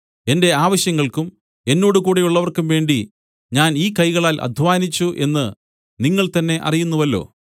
എന്റെ ആവശ്യങ്ങൾക്കും എന്നോടുകൂടെയുള്ളവർക്കും വേണ്ടി ഞാൻ ഈ കൈകളാൽ അദ്ധ്വാനിച്ചു എന്ന് നിങ്ങൾതന്നെ അറിയുന്നുവല്ലോ